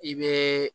I bɛ